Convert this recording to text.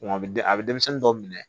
a bɛ a bɛ denmisɛnnin dɔw minɛ